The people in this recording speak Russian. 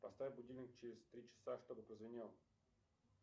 поставь будильник через три часа чтобы прозвенел